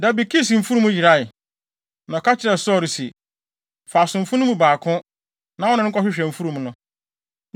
Da bi Kis mfurum yerae, na ɔka kyerɛɛ Saulo se, “Fa asomfo no mu baako, na wo ne no nkɔhwehwɛ mfurum no.”